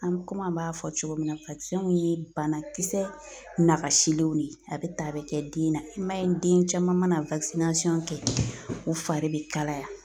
An bɛ komi an b'a fɔ cogo min na ye banakisɛ nagasilenw de ye a bɛ ta a bɛ kɛ den na i m'a ye den caman mana kɛ u fari bɛ kalaya